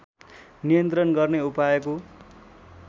नियन्त्रण गर्ने उपायको